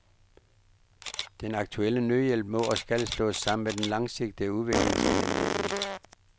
Den akutte nødhjælp må og skal slås sammen med den langsigtede udviklingsplanlægning.